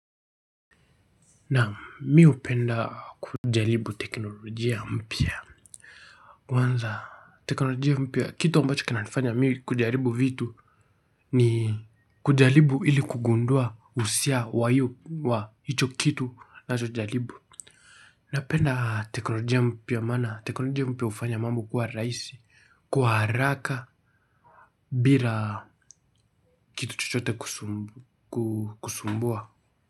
Nam miupenda kujalibu teknolojia mpia. Kwanza teknolojia mpia kitu ambacho kina nifanya miu kujalibu vitu ni kujalibu ili kugundua usia wayo wa hicho kitu nachojalibu. Na penda teknolojia mpia mana teknolojia mpia ufanya mambo kuwa raisi kwa haraka bila kitu chochote kusumbua.